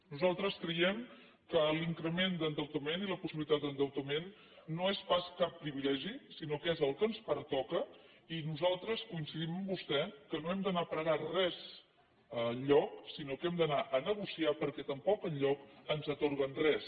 nosaltres creiem que l’increment d’endeutament i la possibilitat d’endeutament no són pas cap privilegi sinó que és el que ens pertoca i nosaltres coincidim amb vostè que no hem d’anar a pregar res enlloc sinó que hem d’anar a negociar perquè tampoc enlloc ens atorguen res